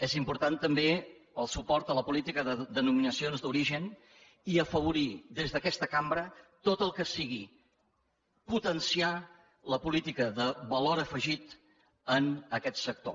és important també el suport a la política de denominacions d’origen i afavorir des d’aquesta cambra tot el que sigui potenciar la política de valor afegit en aquest sector